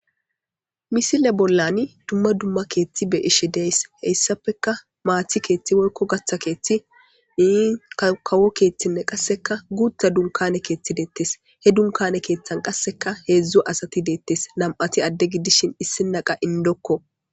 Misile bollani dumma dumma keethti be ishi deys heyssappeka maati keeththi woykko gatha keethti ii kawo keeththinne qasseka guutha dunkane keethti deettes he dunkane keeththan qasseka heedzdzo asati deettes nam'ati adde gidishin issi naqa indokko.